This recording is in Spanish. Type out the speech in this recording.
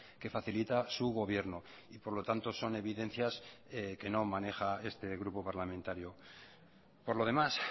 que facilita su gobierno y por lo tanto son evidencias que no maneja este grupo parlamentario por lo demás